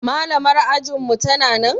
Malamar ajinmu tana nan?